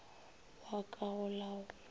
wa ka go la go